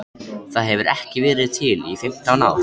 Það hefur ekki verið til í fimmtán ár!